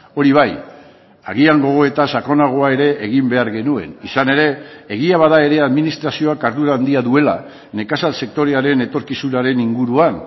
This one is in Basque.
hori bai agian gogoeta sakonagoa ere egin behar genuen izan ere egia bada ere administrazioak ardura handia duela nekazal sektorearen etorkizunaren inguruan